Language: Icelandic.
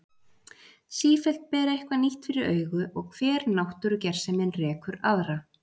Sífellt ber eitthvað nýtt fyrir augu og hver náttúrugersemin rekur aðra.